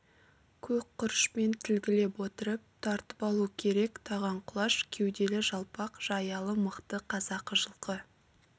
көк құрышпен тілгілеп отырып тартып алу керек таған құлаш кеуделі жалпақ жаялы мықты қазақы жылқы